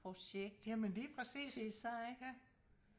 projekt til sig ikk